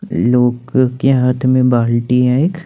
लोग के हाथ में बाल्टी है एक।